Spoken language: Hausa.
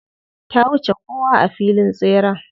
Ta wuce kowa a filin tseren.